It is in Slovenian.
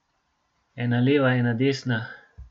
Ena leva, ena desna ...